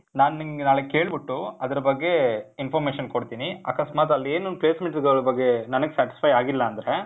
ನಾನ್, ನಿಂಗ್ ನಾಳೆ ಕೇಳ್ಬಿಟ್ಟು, ಅದ್ರ್ ಬಗ್ಗೆ information ಕೊಡ್ತೀನಿ. ಅಕಸ್ಮಾತ್ ಆಲ್ ಏನೂ placements ಗಳ್ ಬಗ್ಗೆ ನನಿಗ್ satisfy ಆಗಿಲ್ಲ ಅಂದ್ರೆ,